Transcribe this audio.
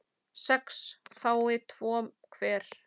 sex fái tvo hver